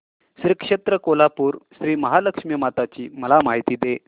श्री क्षेत्र कोल्हापूर श्रीमहालक्ष्मी माता ची मला माहिती दे